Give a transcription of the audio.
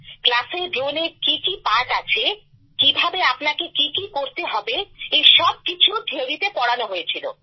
ক্লাসে ড্রোনে কি কি পার্ট আছে কিভাবে আপনাকে কি কি করতে হবে এই সবকিছু থিওরিতে পড়ানো হয়েছিল